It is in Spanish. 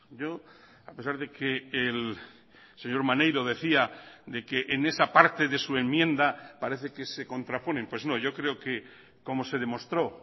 yo a pesar de que el señor maneiro decía de que en esa parte de su enmienda parece que se contraponen pues no yo creo que como se demostró